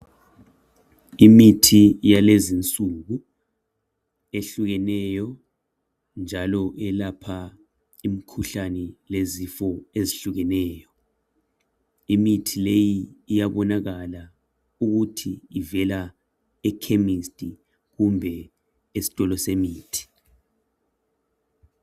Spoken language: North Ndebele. Imithi yalezinsuku, ehlukeneyo, njalo yelapha imikhuhlane lezifo ezihlukeneyo. lmithi leyi iyabonakala, ukuthi ivela ekhemesti kumbe esitolo semithi.